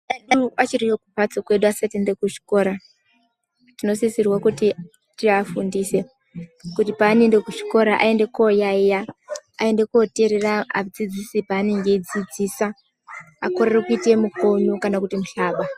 Ana edu achiri kumhatso kwedu asati aende kuzvikora tinosisirwe kuti tiafundise kuti paanoende kuchikora aende koyayiya aende koteerera adzidzisi paanenge achidzidzisa akorere kuita mikonyo kana mihlaba.